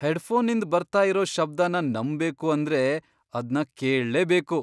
ಹೆಡ್ಫೋನ್ನಿಂದ್ ಬರ್ತಾ ಇರೋ ಶಬ್ದನ ನಂಬ್ಬೇಕು ಅಂದ್ರೆ ಅದ್ನ ಕೇಳ್ಲೇಬೇಕು!